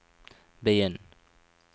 begynn